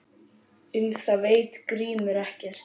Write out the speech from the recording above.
Um það veit Grímur ekkert.